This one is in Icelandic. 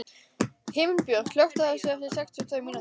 Himinbjörg, slökktu á þessu eftir sextíu og tvær mínútur.